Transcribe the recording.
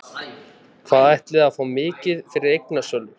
Hvað ætliði að fá mikið fyrir eignasölu?